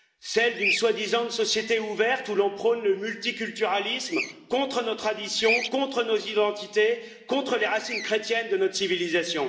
Celles d'une soi disant société ouverte où l'on prône le multiculturalisme contre nos traditions, contre nos identités, contre les racines chrétiennes de notre civilisation.